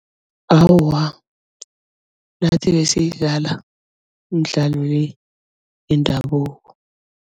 Awa nathi besiyidlala imidlalo le yendabuko.